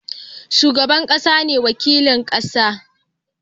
Shugaban ƙasa ne wakilin ƙasa